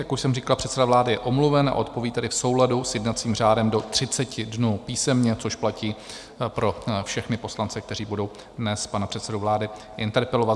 Jak už jsem říkal, předseda vlády je omluven, a odpoví tedy v souladu s jednacím řádem do 30 dnů písemně, což platí pro všechny poslance, kteří budou dnes pana předsedu vlády interpelovat.